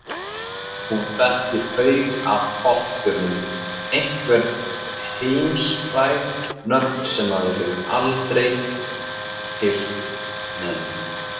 Hún þekkir haug af poppstjörnum, einhver heimsfræg nöfn sem maður hefur aldrei heyrt nefnd.